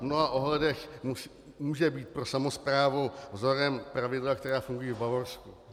V mnoha ohledech mohou být pro samosprávu vzorem pravidla, která fungují v Bavorsku.